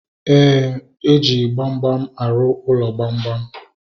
Éè, eji gbamgbam arụ ụlọ gbamgbam